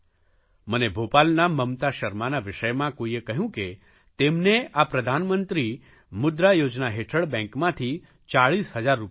મને ભોપાલના મમતા શર્માના વિષયમાં કોઇએ કહ્યું કે તેમને આ પ્રધાનમંત્રી મુદ્રા યોજના હેઠળ બેંકમાંથી 40 હજાર રૂપિયા મળ્યા